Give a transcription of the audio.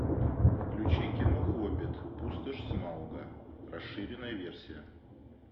включи кино хоббит пустошь смауга расширенная версия